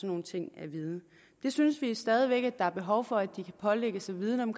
nogle ting at vide vi synes stadig væk der er behov for at de kan pålægges at vidne om